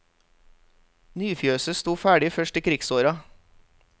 Nyfjøset stod ferdig først i krigsåra.